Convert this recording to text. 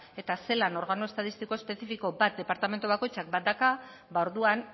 eta zelan organo estatistiko espezifiko bat departamentu bakoitzean badauka orduan